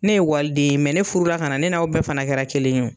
Ne ye waliden ye ne furula ka na ne n'aw bɛɛ fana kɛra kelen ye wo.